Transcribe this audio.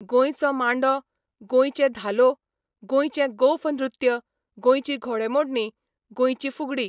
गोंयचो मांडो, गोंयचे धालो, गोंयचें गोफ नृत्य, गोंयची घोडेमोडणी, गोंयची फुगडी.